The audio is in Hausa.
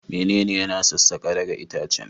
Menene yana sassaka daga itacen?